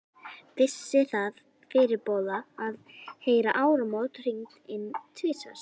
Vissi það fyrirboða, að heyra áramót hringd inn tvisvar.